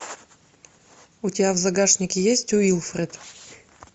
у тебя в загашнике есть уилфред